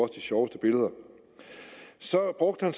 sjoveste billeder så brugte han